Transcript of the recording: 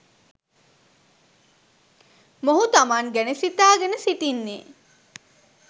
මොහු තමන් ගැන සිතාගෙන සිටින්නේ